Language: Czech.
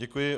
Děkuji.